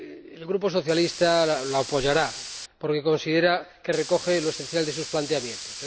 El Grupo Socialista la apoyará porque considera que recoge lo esencial de sus planteamientos.